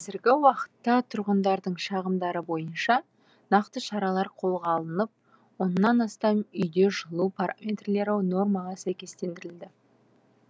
қазіргі уақытта тұрғындардың шағымдары бойынша нақты шаралар қолға алынып оннан астам үйде жылу параметрлері нормаға сәйкестендірілді